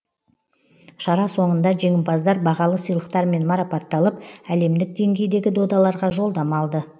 шара соңында жеңімпаздар бағалы сыйлықтармен марапатталып әлемдік деңгейдегі додаларға жолдама алды